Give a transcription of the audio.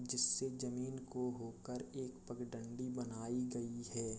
जिससे ज़मीन को होकर एक पगडंडी बनाई गयी है।